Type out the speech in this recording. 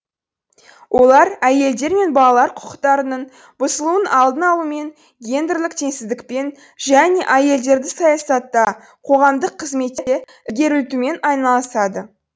олар әйелдер мен балалар құқықтарының бұзылуының алдын алумен гендерлік теңсіздікпен және әйелдерді саясатта қоғамдық қызметте ілгерілтумен айналысады